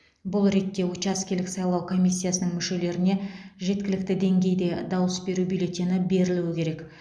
бұл ретте учаскелік сайлау комиссиясының мүшелеріне жеткілікті деңгейде дауыс беру бюллетені берілуі керек